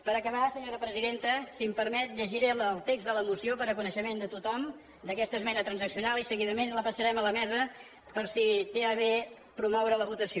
per acabar senyora presidenta si m’ho permet llegiré el text de la moció per a coneixement de tothom d’aquesta esmena transaccional i seguidament la passarem a la mesa per si té a bé promoure’n la votació